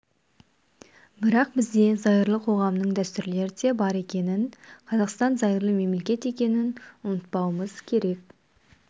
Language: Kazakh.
бірақ бізде зайырлы қоғамның дәстүрлері де бар екенін қазақстан зайырлы мемлекет екенін ұмытпауымыз керек